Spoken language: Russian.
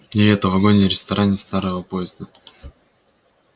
и это в вагоне-ресторане старого поезда